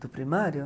Do primário?